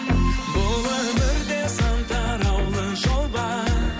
бұл өмірде сан тараулы жол бар